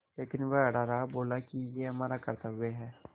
लेकिन वह अड़ा रहा और बोला कि यह हमारा कर्त्तव्य है